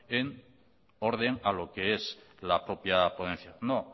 en orden a lo que es la propia ponencia no